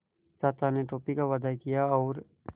चाचा ने टॉफ़ी का वादा किया और